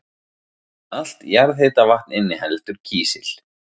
Allt jarðhitavatn inniheldur kísil.